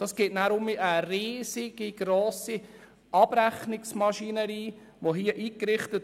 Es wird eine riesengrosse Abrechnungsmaschinerie entstehen.